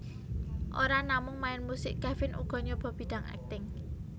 Ora namung main musik Kevin uga nyoba bidang akting